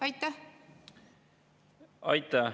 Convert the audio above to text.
Aitäh!